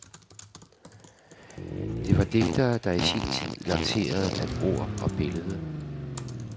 Det var digtere, der i sin tid lancerede, at ord og billede